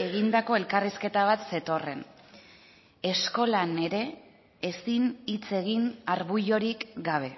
egindako elkarrizketa bat zetorren eskolan ere ezin hitz egin arbuiorik gabe